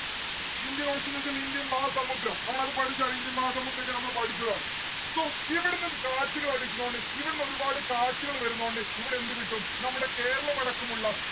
indian ocean ന്ന്‌ വെച്ചാൽ Indian മഹാസമുദ്രം. നമ്മളത് പഠിച്ചതാണ് ഇന്ത്യൻ മഹാ സമുദ്രോക്കെ നമ്മള് പഠിച്ചതാണ്. so ഇവിടന്ന് കാറ്റുകൾ അടിക്കണോണ്ട് ഇവിടുന്ന് ഒരുപാട് കാറ്റുകള് വരുന്നോണ്ട് ഇവിടെ എന്ത് കിട്ടും നമ്മുടെ കേരളം അടക്കമുള്ള